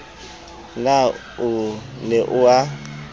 na o ne o a